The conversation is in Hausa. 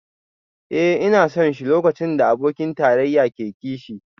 Eh ina son shi lokacin da abokin tarayya ke kishi